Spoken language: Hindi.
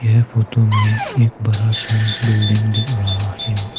यह फोटो में एक बड़ा सा बिल्डिंग दिख रहा है।